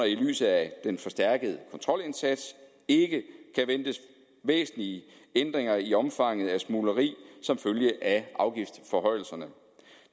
i lyset af den forstærkede kontrolindsats ikke kan ventes væsentlige ændringer i omfanget af smugleri som følge af afgiftsforhøjelserne